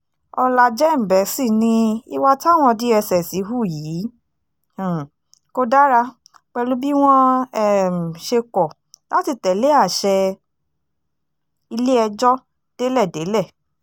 ọ̀làjẹ́ǹbẹ́sì ní ìwà táwọn dss hù yìí um kò dára pẹ̀lú bí wọ́n um ṣe kọ̀ láti tẹ̀lé àṣẹ ilé-ẹjọ́ délẹ̀délẹ̀